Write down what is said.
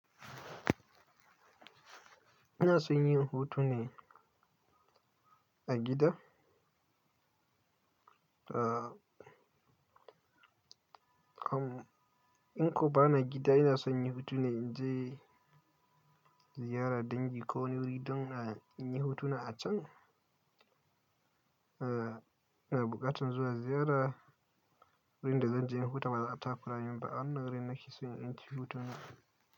Ina son yin hotuna a gida. Ah, in koba na gida ina son yin hutu ne in je ziyara dangi ko wuri don in yi hotuna a can. Ah, ina buƙatar zuwa ziyara wurin da zanje hutawa ta baza takura min ba, a wannan wurin nake son yin hutu na.